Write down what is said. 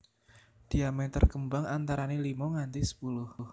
Diameter kembang antarané limo nganti sepuluh